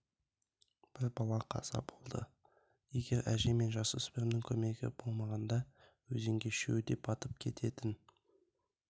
бір бала қаза болды егер әже мен жасөспірімнің көмегі болмағанда өзенге үшеуі де батып кететін